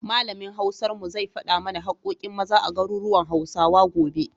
Malamin Hausar mu zai faɗa mana haƙƙoƙin Maza a garuruwan Hausawa, gobe.